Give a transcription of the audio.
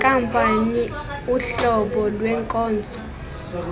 zenkampani uhlobo lwenkonzo